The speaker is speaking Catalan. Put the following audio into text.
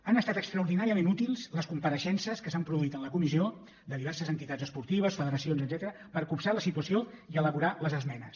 han estat extraordinàriament útils les compareixences que s’han produït en la comissió de diverses entitats esportives federacions etcètera per copsar la situació i elaborar les esmenes